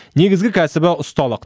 негізгі кәсібі ұсталық